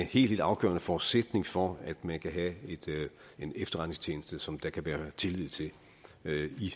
helt afgørende forudsætning for at man kan have en efterretningstjeneste som der kan være tillid til